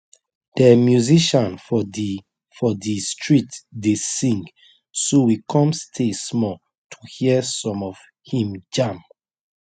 de musician for the for the street dey sing so we come stay small to hear some of him jam